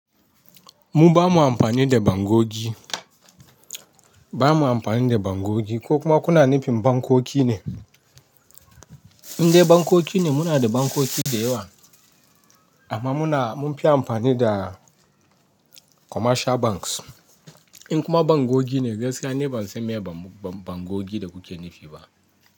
Mu bana amfani da bangogi, ba mu amfani da bangogi ko kuma kuna nufin bankoki ne? In dai bankoki ne muna da bankoki da yawa amma muna mun fi amfani da commercial banks. In kuma bangogi ne gaskiya ni ban san me bangogi da kuke nufi ba.